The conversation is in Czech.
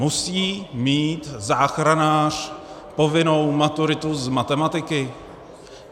Musí mít záchranář povinnou maturitu z matematiky?